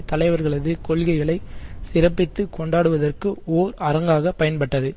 தலைவர்களது கொள்கைகளை சிறப்பித்து கொண்டாடுவதற்கு ஓர் அரங்காக பயன்பட்டது